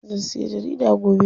Zan siya jarida gobe.